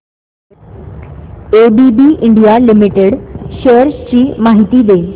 ABB India limited shares ची माहिती दे